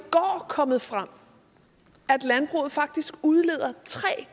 kommet frem at landbruget faktisk udleder tre